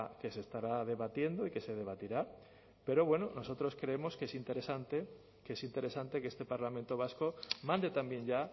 que se estará debatiendo y que se debatirá pero bueno nosotros creemos que es interesante que este parlamento vasco mande también ya